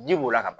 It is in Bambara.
Ji b'o la ka ban